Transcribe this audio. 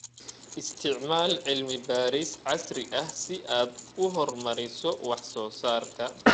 Isticmaal cilmi-baaris casri ah si aad u horumariso wax soo saarka.